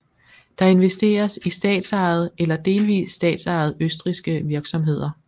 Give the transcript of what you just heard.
Der investeres i statsejede eller delvist statsejede østrigske virksomheder